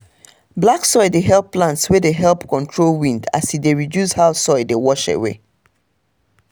black soil dey help plants wey dey help control wind as e dey reduce how soil dey wash away.